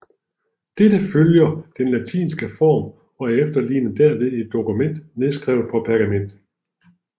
Dette følger den latinske form og efterligner derved et dokument nedskrevet på pergament